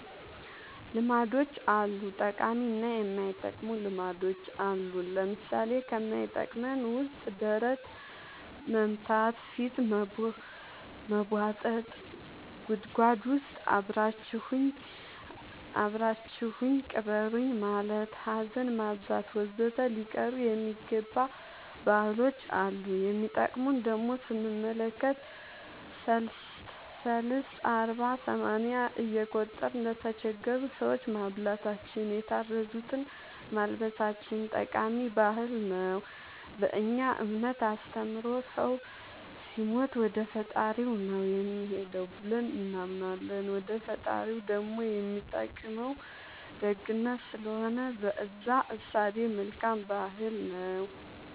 ልማዶች አሉ ጠቃሚ እና የማይጠቅሙ ልማዶች አሉን ለምሳሌ ከማይጠቅመን ውስጥ ደረት መምታ ፊት መቦጠጥ ጉድጎድ ውስጥ አብራችሁኝ ቅበሩኝ ማለት ሀዘን ማብዛት ወዘተ ሊቀሩ የሚገባ ባህሎች አሉ የሚጠቅሙን ደሞ ስንመለከት ሰልስት አርባ ሰማንያ እየቆጠርን ለተቸገሩ ሰዎች ማብላታችን የታረዙትን ማልበሳችን ጠቃሚ ባህል ነው በእኛ እምነት አስተምሮ ሰው ሲሞት ወደፈጣሪው ነው የሚሄደው ብለን እናምናለን ወደ ፈጣሪው ደሞ የሚጠቅመው ደግነት ስለሆነ በእዛ እሳቤ መልካም ባህል ነው